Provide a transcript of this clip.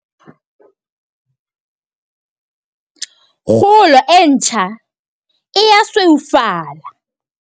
Kgolo e ntjha e a sweufala.